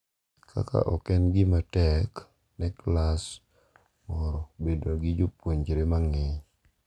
kaka ok en gima tek ne klas moro bedo gi jopuonjre mang’eny,